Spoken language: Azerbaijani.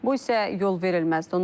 Bu isə yolverilməzdir.